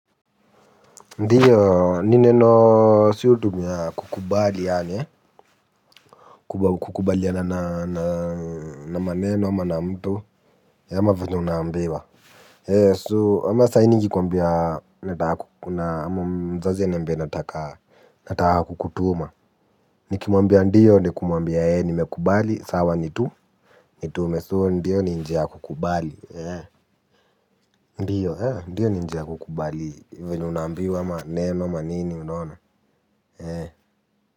Ndiyo, ni neno siyo tu niya kukubali yaani, eh, kukubalina na maneno ama na mtu, ama vile unaambiwa. Eh, so, ama sahii nikikwambia, ama mzazi aniambie nataka, kukutuma. Nikimwambia, ndiyo, ni kumwambia, eh, nimekubali, sawa nitu, nitume, so, ndiyo ni njia ya kukubali, eh. Ndiyo, eh, ndiyo ni njia kukubali, venye unaambiwa maneno ama nini unaona, eh.